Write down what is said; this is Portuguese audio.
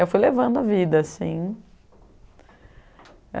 Eu fui levando a vida, assim.